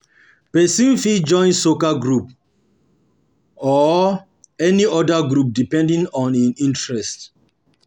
Person fit join soccer group or group or any oda group depending on im interest